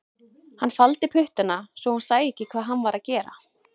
Hann faldi puttana svo hún sæi ekki hvað hann var að gera